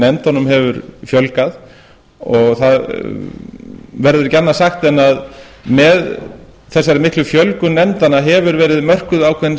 nefndunum hefur fjölgað það verður ekki annað sagt en að með þessari miklu fjölgun nefndanna hefur verið mörkuð ákveðin